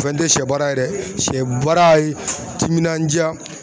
O fɛnɛ tɛ sɛ baara ye dɛ, sɛ baara ye timinandiya